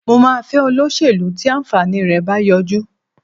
Mo máa fẹ́ olóṣèlú tí àǹfààní rẹ̀ bá yọjú